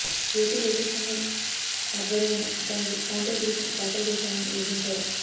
AP రైతు సంఘం ఆధ్వర్యాన దానికి కౌంటర్ పిటిషన్ దాఖలు చేశామని వివరించారు